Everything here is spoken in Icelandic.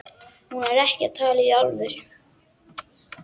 Hún er ekki að tala í alvöru.